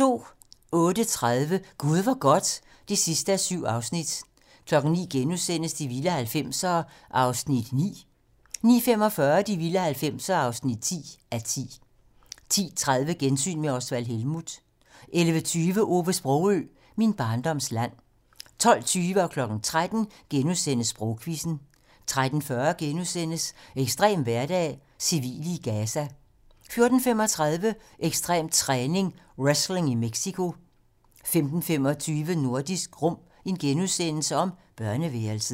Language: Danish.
08:30: Gud hvor godt (7:7) 09:00: De vilde 90'ere (9:10)* 09:45: De vilde 90'ere (10:10) 10:30: Gensyn med Osvald Helmuth 11:20: Ove Sprogøe - Min barndoms land 12:20: Sprogquizzen * 13:00: Sprogquizzen * 13:40: Ekstrem hverdag: Civile i Gaza * 14:35: Ekstrem træning: Wrestling i Mexico 15:25: Nordisk Rum - børneværelset *